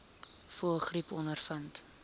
voëlgriep ondervind